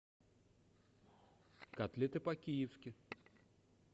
котлеты по киевски